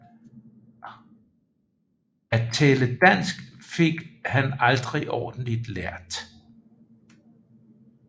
At tale dansk fik han aldrig ordentlig lært